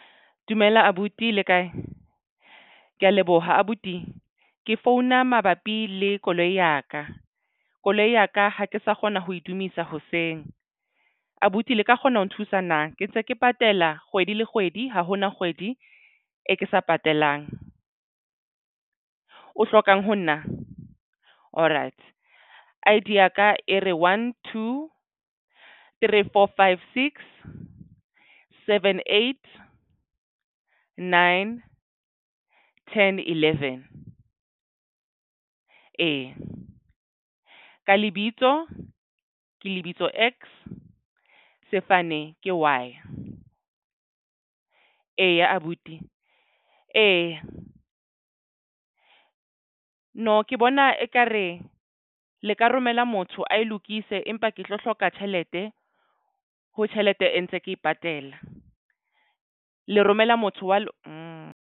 Dumela abuti le kae? Ke ya leboha abuti ke founa mabapi le koloi ya ka. Koloi ya ka ha ke sa kgona ho edumisa hoseng abuti le ka kgona ho nthusa na ke ntse ke patala kgwedi le kgwedi ha hona kgwedi e ke sa patalang o hlokang ho nna alright. I_D ya ka e re one two three four five six seven eight nine ten eleven. Eya, ka lebitso ke lebitso X sefane ke Y. Eya, abuti eya nna ke bona ekare le ka romela motho ae lokise. Empa ke tlo hloka tjhelete ho tjhelete e ntse ke patela le romela motho wa mo.